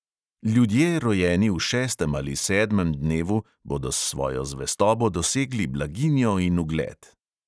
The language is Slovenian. Ljudje, rojeni v šestem ali sedmem dnevu, bodo s svojo zvestobo dosegli blaginjo in ugled.